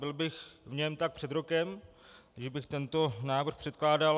Byl bych v něm tak před rokem, pokud bych tento návrh předkládal.